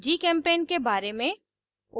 gchem paint के बारे में